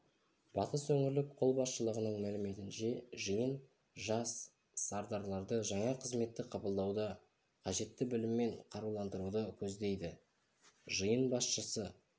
батыс өңірлік қолбасшылығының мәліметінше жиын жас сардарларды жаңа қызметті қабылдауда қажетті біліммен қаруландыруды көздейді жиын басшысы